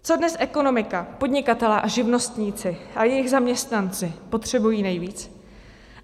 Co dnes ekonomika, podnikatelé a živnostníci a jejich zaměstnanci potřebují nejvíc?